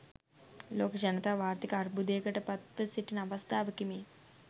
ලෝක ජනතාව ආර්ථික අර්බුදයකට පත්ව සිටින අවස්ථාවකි මේ.